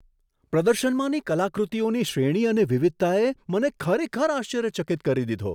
પ્રદર્શનમાંની કલાકૃતિઓની શ્રેણી અને વિવિધતાએ મને ખરેખર આશ્ચર્યચકિત કરી દીધો.